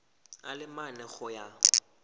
a le mane go ya